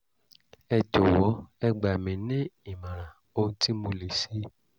ẹ jọ̀wọ́ ẹ gbà mí ní ìmọ̀ràn ohun tí mo lè ṣe